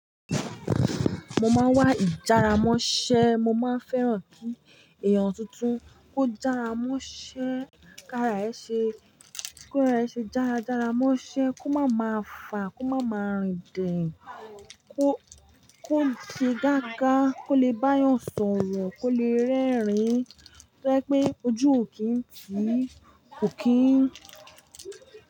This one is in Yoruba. Mo máa ń wá ìjára mọ́ṣẹ́, mo máa ń fẹ́ran kí èèyàn tuntun kó jára mọ́ṣẹ́, kí ara ẹ ṣe, kí ara ẹ ṣe jára, jára mọ́ṣẹ́, kó má máa fà, kó má máa rìn dìn, kó, kó se gága, kó le bá a yàn sọ̀rọ̀, kó le rẹ́rìn-ín, tó jẹ pé ojú ò kí ń ti, ò kí ń.